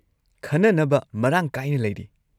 ꯈꯟꯅꯅꯕ ꯃꯔꯥꯡ ꯀꯥꯏꯅ ꯂꯩꯔꯤ꯫